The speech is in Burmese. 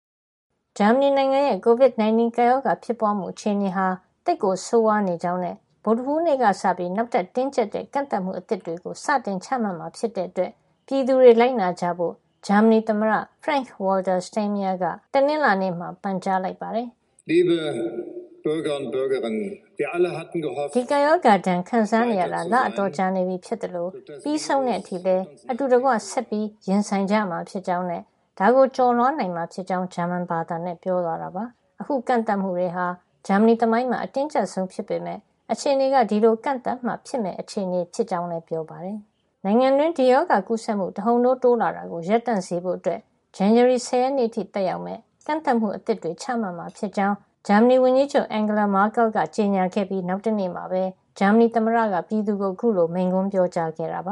ဂျာမဏီနိုင်ငံရဲ့ Covid 19 ကပ်ရောဂါ ဖြစ်ပွါးမှုအခြေနေဟာ သိပ်ကိုဆိုးဝါးနေကြောင်းနဲ့ ဗုဒ္ဓဟူးနေ့ကစပြီး နောက်ထပ် တင်းကြပ်တဲ့ ကန့်သတ်မှုတွေအသစ်တွေကို စတင်ချမှတ်မှာ ဖြစ်တဲ့အတွက် ပြည်သူတွေ လိုက်နာကြဖို့ ဂျာမဏီသမ္မတ Frank-Walter Steinmeier က တနင်္လာနေ့မှာ ပန်ကြားလိုက်ပါတယ်။ "ဒီကပ်ရောဂါဒဏ်ခံစားနေရတာ လအတော်ကြာနေပြီဖြစ်သလို ပြီးဆုံးတဲ့အထိလည်း အတူတကွ ဆက်လက်ရင်ဆိုင်ကြမှာ ဖြစ်ကြောင်းနဲ့ ဒါကို ကျော်လွှားနိုင်မှာ ဖြစ်ကြောင်း ဂျာမန်ဘာသာနဲ့ ပြောသွားတာပါ။ အခု ကန့်သတ်မှုတွေဟာ ဂျာမဏီသမိုင်းမှာ အတင်းကြပ်ဆုံး ဖြစ်ပေမယ့် အခြေနေက ဒီလိုကန့်သတ်မှ ဖြစ်မယ့် အခြေနေဖြစ်ကြောင်းလည်း ပြောပါတယ်။ နိုင်ငံတွင်း ဒီရောဂါကူးစက်မှု တဟုတ်ထိုး တိုးလာတာကို ရပ်တံ့စေဖို့အတွက် ဇန်နဝါရီလ ၁၀ ရက်နေ့အထိ သက်ရောက်မယ့် ကန့်သတ်မှုအသစ်တွေချမှတ်မှာ ဖြစ်ကြောင်း ဂျာမဏီဝန်ကြီးချုပ် ကြေညာခဲ့ပြီး နောက်တနေ့မှာပဲ ဂျာမဏီသမ္မတက ပြည်သူကို အခုလို မိန့်ခွန်းပြောကြားခဲ့တာပ